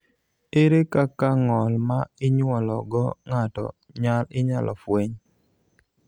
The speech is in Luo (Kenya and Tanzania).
ere kaka ng'ol ma inyuolo go ng'ato inyalo fweny?